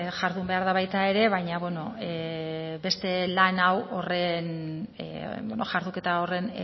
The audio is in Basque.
jardun behar baita ere baina beno beste lan hau jarduketa horren